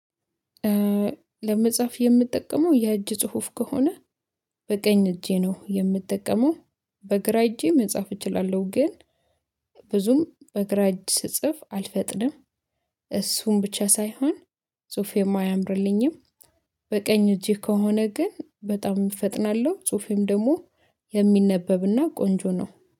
ለመጽሐፍ የምጠቀመው የእጅ ጽሁፍ ከሆነ በቀኝ እጄ ነው የምጠቀመው። በግራ እጄ መጻፍ እችላለሁ ግን ብዙም በግራ እጅ ስጽፍ አልፈጥንም። እሱን ብቻ ሳይሆን ጹፌሞ አያምርልኝም። በቀኝ እጄ ከሆነ ግን በጣም እፈጥናለሁ ጽሁፌም ደግሞ የሚነበብና ቆንጆ ነው።